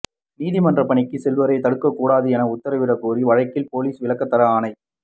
நீதிமன்ற பணிக்கு செல்வோரை தடுக்கக் கூடாது என உத்தரவிடக் கோரிய வழக்கில் போலீஸ் விளக்கம் தர ஆணை